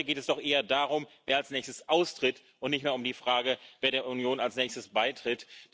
Heute geht es doch eher darum, wer als Nächstes austritt, und nicht mehr um die Frage, wer der Union als Nächstes beitritt.